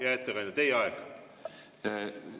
Hea ettekandja, teie aeg!